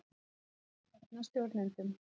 Hyggst stefna stjórnendum